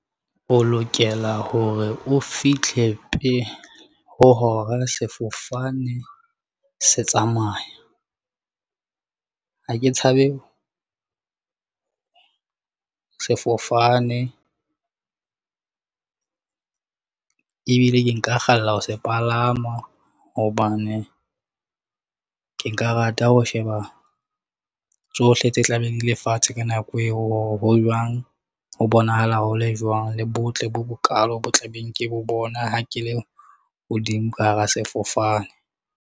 O lokela hore o fihle pele ho hora sefofane se tsamaya. Ha ke tshabe sefofane ebile ke nka kgalla ho se palama hobane ke nka rata ho sheba tsohle tse tla beng di le fatshe. Ka nako eo hore ho jwang, ho bonahala hole jwang le botle bo bokalo bo tla beng ke bo bona. Ha ke le hodimo ka hara sefofane.